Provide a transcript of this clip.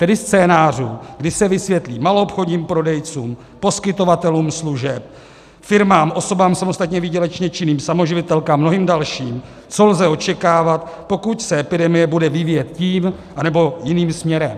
Tedy scénářů, kdy se vysvětlí maloobchodním prodejcům, poskytovatelům služeb, firmám, osobám samostatně výdělečně činným, samoživitelkám, mnohým dalším, co lze očekávat, pokud se epidemie bude vyvíjet tím, anebo jiným směrem.